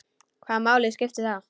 Hvaða máli skiptir það?